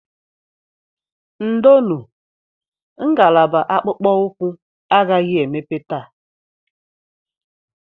Ndonu, ngalaba akpụkpọ ụkwụ agaghị emepe taa